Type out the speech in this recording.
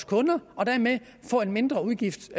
kunder og dermed få en mindre udgift